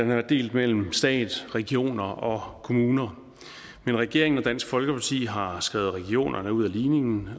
været delt mellem stat regioner og kommuner men regeringen og dansk folkeparti har skrevet regionerne ud af ligningen